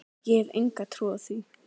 Ég hef enga trú á því,